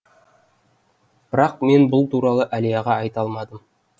бірақ мен бұл туралы әлияға айта алмадым